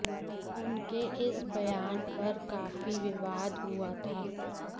उनके इस बयान पर काफी विवाद हुआ था